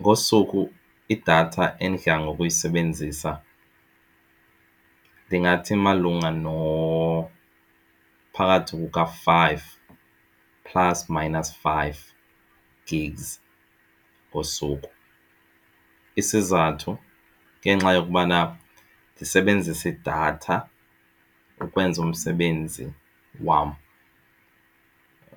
Ngosuku idatha endidla ngokuyisebenzisa ndingathi malunga nophakathi kuka-five plus minus five Gigs ngosuku. Isizathu ngenxa yokubana ndisebenzisa idatha ukwenza umsebenzi wam.